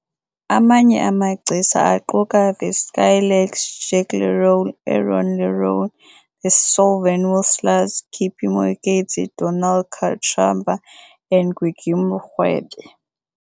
Amanye amagcisa aquka The Skylarks, Jack Lerole, Aaron Lerole, The Solven Whistlers, Kippie Moeketsi, Donald Kachamba and Gwigwi Mrwebe.